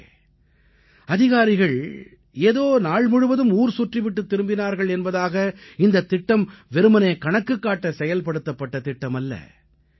நண்பர்களே அதிகாரிகள் ஏதோ நாள் முழுவதும் ஊர்சுற்றிவிட்டுத் திரும்பினார்கள் என்பதாக இந்தத் திட்டம் வெறுமனே கணக்குக் காட்ட செயல்படுத்தப்பட்ட திட்டமல்ல